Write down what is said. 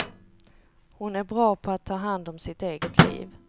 Hon är bra på att ta hand om sitt eget liv.